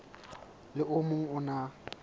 le o mong o na